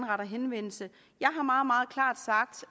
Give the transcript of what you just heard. retter henvendelse